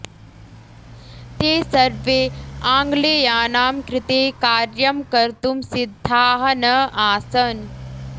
ते सर्वे आङ्ग्लेयानाम् कृते कार्यं कर्तुम् सिद्धाः न आसन्